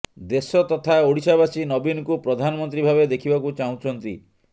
ଦେଶ ତଥା ଓଡ଼ିଶାବାସୀ ନବୀନଙ୍କୁ ପ୍ରଧାନମନ୍ତ୍ରୀ ଭାବେ ଦେଖିବାକୁ ଚାହୁଁଛନ୍ତି